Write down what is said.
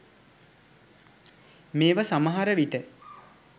මේව සමහර විට